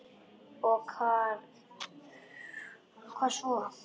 Já og hvað svo?